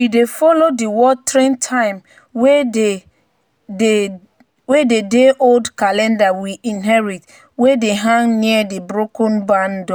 "we dey follow di watering time wey dey old calendar we inherit wey dey hang near di broken barn door."